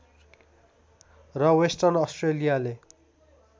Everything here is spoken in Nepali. र वेस्टर्न अस्ट्रेलियाले